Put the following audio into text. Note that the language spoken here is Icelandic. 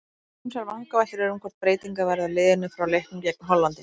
Ýmsar vangaveltur eru um hvort breytingar verði á liðinu frá leiknum gegn Hollandi.